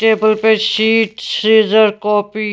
table पे sheet scissor copy --